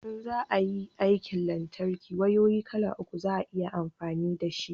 in za a yin aikin lantarki wayoyi kala uku za a yi amfani da shi